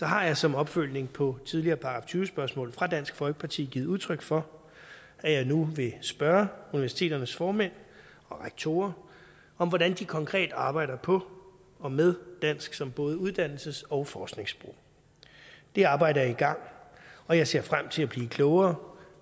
har jeg som opfølgning på tidligere § tyve spørgsmål fra dansk folkeparti givet udtryk for at jeg nu vil spørge universiteternes formænd og rektorer om hvordan de konkret arbejder på og med dansk som både uddannelses og forskningssprog det arbejde er i gang og jeg ser frem til at blive klogere